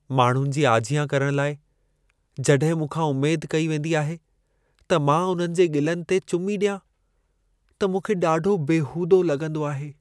माण्हुनि जी आजियां करण लाइ, जॾहिं मूंखां उमेद कई वेंदी आहे त मां उन्हनि जे ॻिलनि ते चुमी ॾियां, त मूंखे ॾाढो बेहूदो लॻंदो आहे।